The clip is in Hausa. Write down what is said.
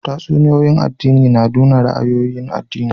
Tatsuniya'n addini na nuna ra'ayoyin addini.